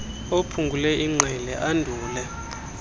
aphungule ingqele andule